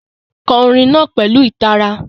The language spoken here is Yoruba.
Kọ orin náà pẹ̀lú ìtara.